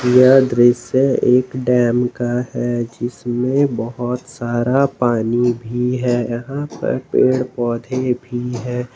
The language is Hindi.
यह दृश्य एक डैम का है जिसमें बहोत सारा पानी भी है यहां पर पेड़ पौधे भी है।